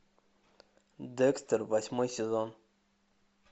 декстер восьмой сезон